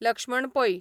Lakshman Pai